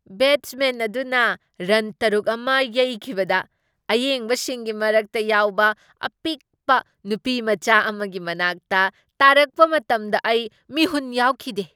Batsman ꯑꯗꯨꯅ run ꯇꯔꯨꯛ ꯑꯃ ꯌꯩꯈꯤꯕꯗ ꯑꯌꯦꯡꯕꯁꯤꯡꯒꯤ ꯃꯔꯛꯇ ꯌꯥꯎꯕ ꯑꯄꯤꯛꯄ ꯅꯨꯄꯤꯝꯆꯥ ꯑꯃꯒꯤ ꯃꯅꯥꯛꯇ ꯇꯥꯔꯛꯄ ꯃꯇꯝꯗ ꯑꯩ ꯃꯤꯍꯨꯟ ꯌꯥꯎꯈꯤꯗꯦ ꯫